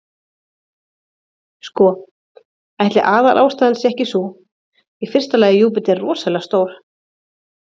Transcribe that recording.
Sko, ætli aðalástæðan sé ekki sú, í fyrsta lagi er Júpíter rosalega stór.